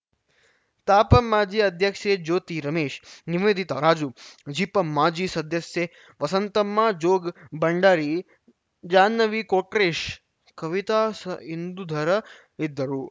ತಾಪಂ ಮಾಜಿ ಅಧ್ಯಕ್ಷೆ ಜ್ಯೋತಿ ರಮೇಶ್‌ ನಿವೇದಿತಾ ರಾಜು ಜಿಪಂ ಮಾಜಿ ಸದಸ್ಯೆ ವಸಂತಮ್ಮ ಜೋಗ್‌ ಬಂಡಾರಿ ಜಾನ್ನವಿ ಕೊಟ್ರೇಶ್‌ ಕವಿತಾ ಸ್ ಇಂದುಧರ ಇದ್ದರು